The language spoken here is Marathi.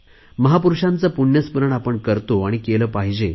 महापुरुषांचे पुण्य स्मरण आपण करतो आणि केले पाहिजे